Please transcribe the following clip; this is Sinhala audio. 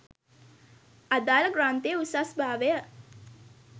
අදාළ ග්‍රන්ථයේ උසස් භාවය